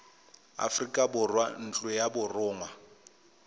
aforika borwa ntlo ya borongwa